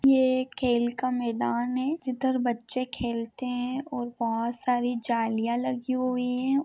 यह एक खेल का मैदान है जिधर बच्चे खेलते हैं और बहुत सारी जालिया लगी हुई है।